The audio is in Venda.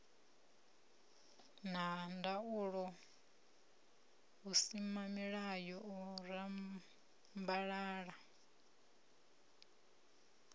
na ndaulo vhusimamilayo u rambalala